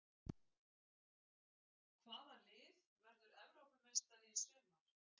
Hvaða lið verður Evrópumeistari í sumar?